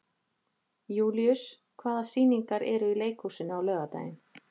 Júlíus, hvaða sýningar eru í leikhúsinu á laugardaginn?